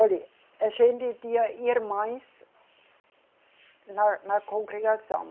Olhe, a gente tinha irmãs, na, na congregação.